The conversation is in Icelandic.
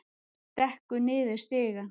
Stekkur niður stigann.